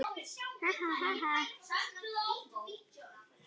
Amma elskar þig